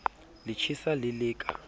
le tjhesa le le ka